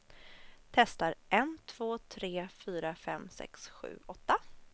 Testar en två tre fyra fem sex sju åtta.